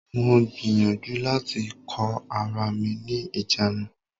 Mo gbìyànjú láti kó ara mi ní ìjánu.